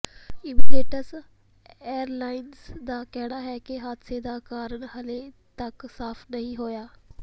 Emirates airlines ਦਾ ਕਹਿਣਾ ਹੈ ਕਿ ਹਾਦਸੇ ਦਾ ਕਾਰਨ ਹਾਲੇ ਤਕ ਸਾਫ ਨਹੀਂ ਹੋਇਆ